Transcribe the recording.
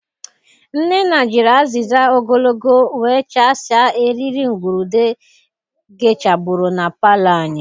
Nnenna jiri aziza ogologo wechasịa eriri ngurude gechabụrụ na palọ anyị.